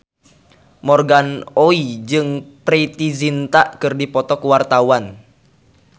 Morgan Oey jeung Preity Zinta keur dipoto ku wartawan